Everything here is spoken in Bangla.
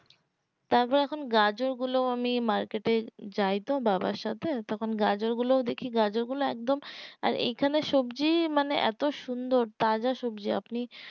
তবে এখন গাজর গুলো আমি market এ যায় তো বাবার সাথে তখন গাজর গুলো ও দেখি গাজর গুলো এ কদম আর এই খানে সবজি মানে এতো সুন্দর তাজা সবজি আপনি